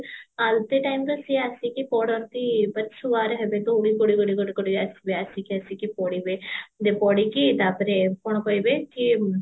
ଆଳତି timeରେ ସିଏ ଆସିକି ପଡନ୍ତି ମାନେ ଦଉଡି ଗୋଡେଇ ଗୋଡେଇ ଆସିବେ ଆସିକି ଆସିକି ପଡିବେ ଗୋଟେ ପଡିକି ତାପରେ କଣ କହିବେ କି